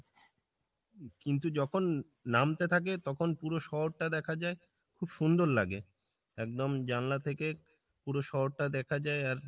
কিন্তু যখন নামতে থাকে তখন পুরো শহরটা দেখা যাই খুব সুন্দর লাগে। একদম জানলা থেকে পুরো শহরটা দেখা যাই আর